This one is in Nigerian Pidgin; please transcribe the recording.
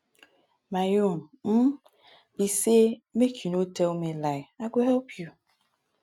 my own um be say make you no tell me lie i go help you